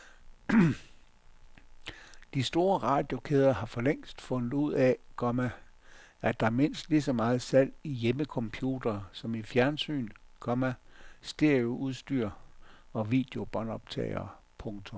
De store radiokæder har forlængst fundet ud af, komma at der er mindst lige så meget salg i hjemmecomputere som i fjernsyn, komma stereoudstyr og videobåndoptagere. punktum